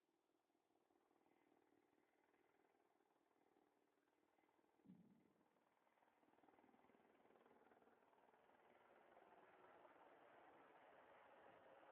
birootu hojii irra oola. Meeshaan kun faayidaa guddaa qabaachuudhaan beekama. Fakkeenyaaf shaamarran meeshaalee miidhagina ittiin eeggatan keessa keewwachuudhaaf fa'aa itti fayyadamu. Kana malees huccuus keessa keewwatanii deemuudhaaf filatamaadha.